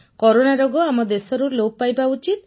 corona ରୋଗ ଆମ ଦେଶରୁ ଲୋପ ପାଇବା ଉଚିତ୍